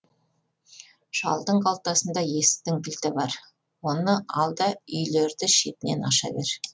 шалдың қалтасында есіктің кілті бар оны ал да үйлерді шетінен аша бер